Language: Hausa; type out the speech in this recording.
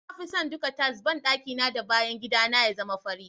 Na fi son duka tiles banɗaki na da bayan gida ya zama fari.